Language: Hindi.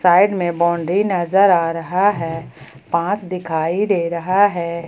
साइड में बाउंड्री नजर आ रहा है बांस दिखाई दे रहा है।